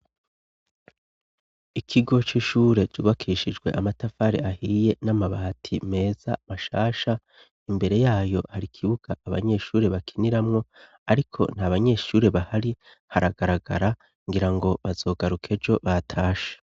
Ikigo c'ishure jubakishijwe amatafare ahiye n'amabati meza mashasha imbere yayo hari ikibuga abanyeshure bakiniramwo, ariko nta banyeshure bahari haragaragara ngira ngo bazogarukejo batasha.